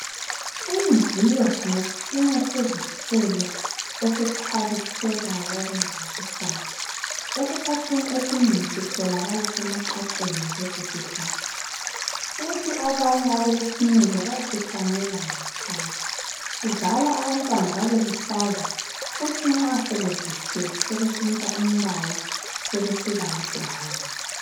Umviyo ngesinye sezithelo esikhwabithekayo okumangalisayo. Esikhathini esinengi sitholakala emaqaqeni lesi sihlahla kuthi abanye abalesineke bayasihlanyela ngekhaya. Sizala abantu babeluhlaza kuthi nxa sebevuthwa sebentshintsha umbala sebe siba yibrown.